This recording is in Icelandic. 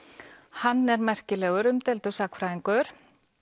hann er merkilegur umdeildur sagnfræðingur